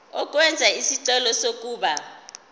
ukwenza isicelo sokuba